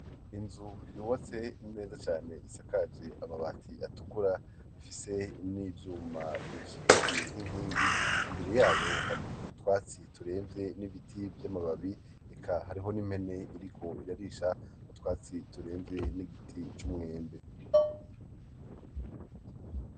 inzu yubatse neza cane isakaje amabati atukura ifise n'ivyuma biyishigikiye nk'inkingi imbere yayo hari utwatsi turemvye n'ibiti vy'amababi eka hariho n'impene iriko irarisha utwatsi turemvye n'igiti c'umwembe